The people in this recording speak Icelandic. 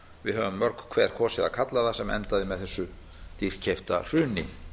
við höfum mörg hver kosið að kalla það sem endaði með þessu dýrkeypta hruni